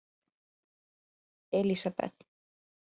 Elisabeth